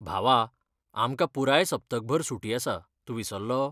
भावा, आमकां पुराय सप्तकभर सुटी आसा, तूं विसरलो?